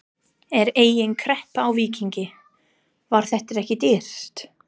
Er engin kreppa í Víkingi, var þetta ekki dýrt?